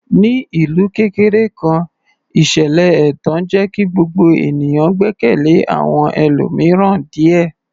Ní ìlú kékeré kan, ìṣẹ̀lẹ̀ ẹ̀tàn jẹ́ kí gbogbo ènìyàn gbẹ́kẹ̀lé àwọn ẹlòmíràn díẹ̀.